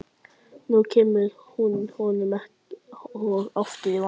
Nú kemur hún honum enn og aftur í vanda.